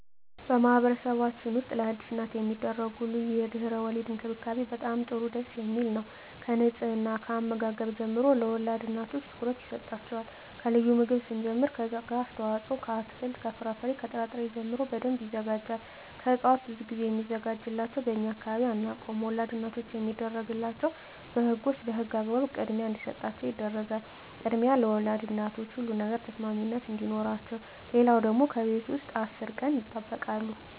በማህበረሰብችን ውስጥ ለአዲስ እናት የሚደረጉ ልዩ የድህረ _ወሊድ እንክብካቤ በጣም ጥሩ ደስ የሚል ነው ከንጽሕና ከአመጋገብ ጀምሮ ለወልድ እናቶች ትኩረት ይሰጣቸዋል ከልዩ ምግብ ስንጀምር ከስጋ አስተዋጽኦ ከአትክልት ከፍራፍሬ ከጥራ ጥሪ ጀምሮ በደንብ ይዘጋጃል ከእጽዋት ብዙ ግዜ ሚዘጋጅላቸው በእኛ አካባቢ አናውቀውም ወላድ እናቶች የሚደረግላቸው በህጎች በህግ አግባብ ክድሚያ እንዲሰጣቸው ይደረጋል ክድሚያ ለወልድ እናቶች ሁሉ ነገር ተሰሚነት አዲኖረቸው ሌለው ደግሞ ከቤት ውስጥ አስር ቀን ይጠበቃሉ